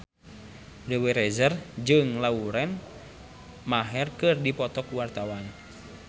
Dewi Rezer jeung Lauren Maher keur dipoto ku wartawan